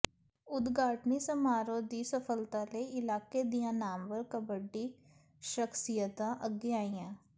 ਉਦਘਾਟਨੀ ਸਮਾਰੋਹ ਦੀ ਸਫਲਤਾ ਲਈ ਇਲਾਕੇ ਦੀਆਂ ਨਾਮਵਰ ਕਬੱਡੀ ਸ਼ਖਸੀਅਤਾਂ ਅੱਗੇ ਆਈਆਂ